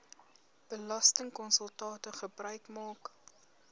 belastingkonsultante gebruik maak